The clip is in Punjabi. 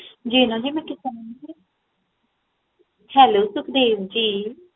ਜੀ ਮੈਂ ਸੁਨ ਰਿਹਾ ਹਾਂ Hello ਸੁਖਦੇਵ ਜੀ